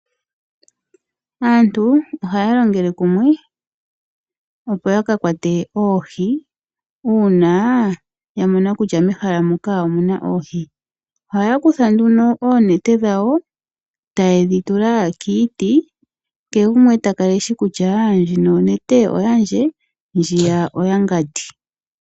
Aantu ohaya longele kumwe opo yaka kwate oohi, uuna ya mona kutya mehala moka omuna oohi. Ohaya kutha nduno oonete dhawo, tayedhi tula kiiti, kehe gumwe takala eshi kutya ndjino onete yandje, ndjiya oyamukwetu.